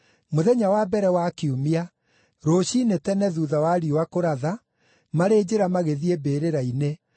Mũthenya wa mbere wa kiumia, rũciinĩ tene thuutha wa riũa kũratha, marĩ njĩra magĩthiĩ mbĩrĩra-inĩ,